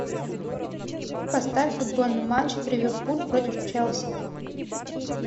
поставь футбольный матч ливерпуль против челси